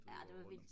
ja det var vildt